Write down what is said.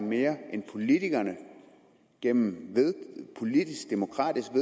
mere end politikerne gennem demokratiske